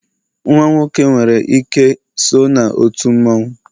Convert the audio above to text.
nwa nwoke nwere ike so na otu mmanwu